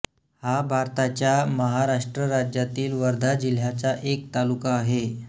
हा भारताच्या महाराष्ट्र राज्यातील वर्धा जिल्ह्याचा एक तालुका आहे